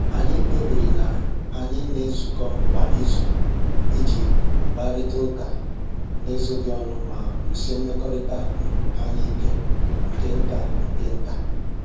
Anyị kpebiri na anyị na-ezukọ kwa izu iji kparịta ụka n'ezoghị ọnụ ma wusie mmekọrịta um anyị ike nke nta nke nta.